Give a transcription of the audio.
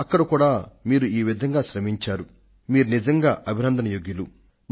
అక్కడ కూడా మీరు ఇంతటి అద్భుతమైన పనిని చేసినందుకు నిజంగా మీరు అభినందన పాత్రులు